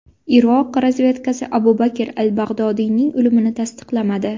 Iroq razvedkasi Abu Bakr al-Bag‘dodiyning o‘limini tasdiqlamadi.